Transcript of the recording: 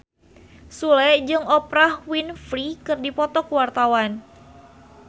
Sule jeung Oprah Winfrey keur dipoto ku wartawan